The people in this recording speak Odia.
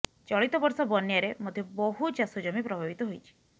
ଚଳିତବର୍ଷ ବନ୍ୟାରେ ମଧ୍ୟ ବହୁ ଚାଷ ଜମି ପ୍ରଭାବିତ ହୋଇଛି